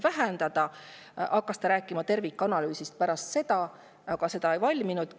Kohe pärast seda hakkas ta rääkima tervikanalüüsist, aga see ei valminudki.